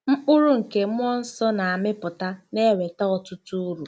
Mkpụrụ nke mmụọ nsọ na-amịpụta na-eweta ọtụtụ uru.